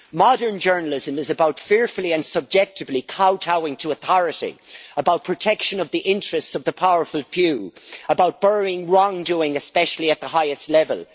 Modern journalism is about fearfully and subjectively kowtowing to authority, about protection of the interests of the powerful few, about burying wrongdoing especially at the highest level.